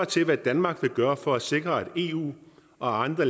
til hvad danmark vil gøre for at sikre at eu og andre